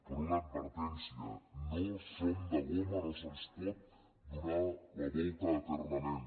però una advertència no som de goma no se’ns pot donar la volta eternament